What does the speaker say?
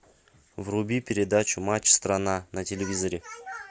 вруби передачу матч страна на телевизоре